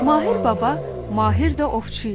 Mahir Baba mahir də ovçu idi.